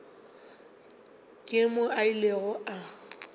ke moo a ilego a